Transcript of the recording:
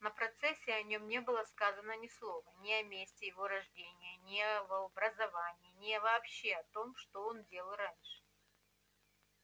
на процессе о нем не было сказано ни слова ни о месте его рождения ни о его образовании ни вообще о том что он делал раньше